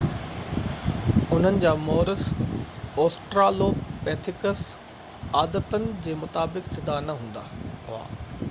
انهن جا مورث اوسٽرالوپيٿيڪس عادتن جي مطابق سڌا نہ هلندا هئا